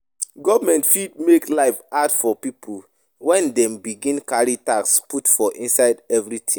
Government fit make life hard for pipo when dem begin carry tax put for inside everything